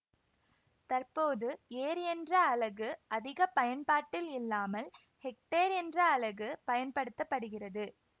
தற்போது ஏர் என்ற அலகு அதிக பயன்பாட்டில் இல்லாமல் ஹெக்டேர் என்ற அலகு பயன்படுத்த படுகிறது